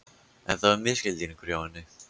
En það var misskilningur hjá henni.